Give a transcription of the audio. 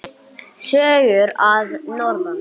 Sögur að norðan.